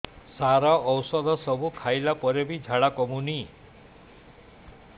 ସାର ଔଷଧ ସବୁ ଖାଇଲା ପରେ ବି ଝାଡା କମୁନି